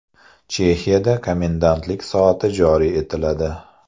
Chexiyada komendantlik soati joriy etiladi.